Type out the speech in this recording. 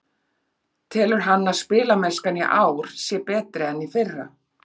Telur hann að spilamennskan í ár sé betri en í fyrra?